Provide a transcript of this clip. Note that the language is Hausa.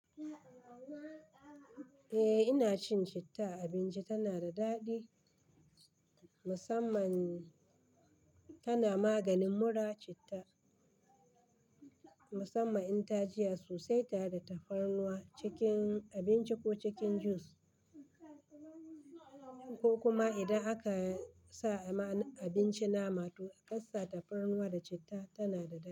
Eh ina cin citta, abinci tana da daɗi musamman tana maganin mura citta musamman in ta jiya sosai tare da tafarnuwa cikin abinci ko cikin juice ko kuma idan aka sa a ma abinci nama to a ƙasa tafarnuwa da citta tana da daɗi.